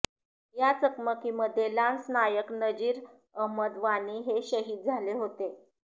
या चकमकीमध्ये लान्स नायक नजीर अहमद वाणी हे शहीद झाले होते